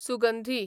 सुगंधी